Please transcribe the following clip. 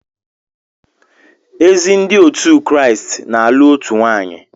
Ezi Ndị otu Kraịst na-alụ otu nwaanyị